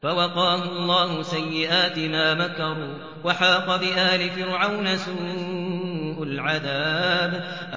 فَوَقَاهُ اللَّهُ سَيِّئَاتِ مَا مَكَرُوا ۖ وَحَاقَ بِآلِ فِرْعَوْنَ سُوءُ الْعَذَابِ